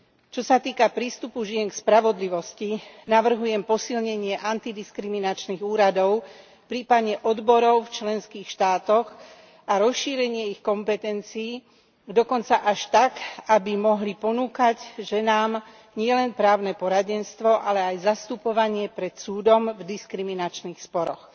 Čo sa týka prístupu žien k spravodlivosti, navrhujem posilnenie antidiskriminačných úradov prípadne odborov v členských štátoch a rozšírenie ich kompetencií, dokonca až tak, aby mohli ponúkať ženám nielen právne poradenstvo, ale aj zastupovanie pred súdom v diskriminačných sporoch.